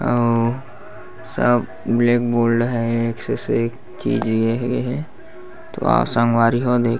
आऊ सब black board हे एक से सेक चीज दिए गए हे तो आओ संगवारी हो देख--